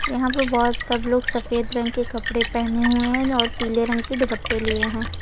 यहां पे बहोत सब लोग सफेद रंग के कपड़े पहने हुए हैं और पीले रंग के दुपट्टे लिए हैं।